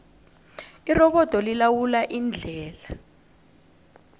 irobodo lilawula indlela